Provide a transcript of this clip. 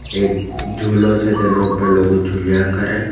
એક ઝૂંલો છે તેના ઉપર લોકો ઝૂલ્યા કરે.